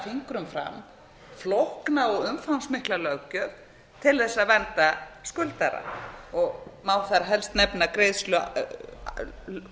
af fingrum fram flókna og umfangsmikla löggjöf til þess að vernda skuldara og má þar helst nefna lög um